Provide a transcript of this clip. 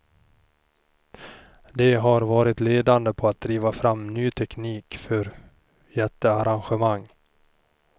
De har varit ledande på att driva fram ny teknik för jättearrangemang.